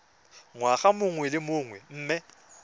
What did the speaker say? ngwaga mongwe le mongwe mme